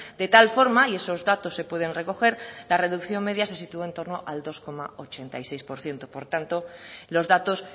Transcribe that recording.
de tal forma y esos datos se pueden recoger la reducción media se situó en torno al dos coma ochenta y seis por ciento por tanto los datos